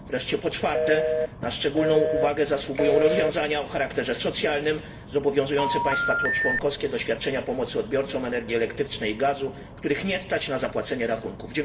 Wreszcie po czwarte, na szczególną uwagę zasługują rozwiązania o charakterze socjalnym, zobowiązujące państwa członkowskie do świadczenia pomocy odbiorcom energii elektrycznej i gazu, których nie stać na zapłacenie rachunków.